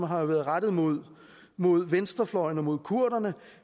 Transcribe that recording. har været rettet mod mod venstrefløjen og mod kurderne